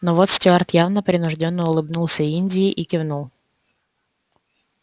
но вот стюарт явно принуждённо улыбнулся индии и кивнул